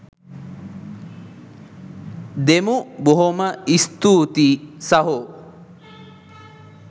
දෙමු බොහොම ස්තූතියි සහෝ.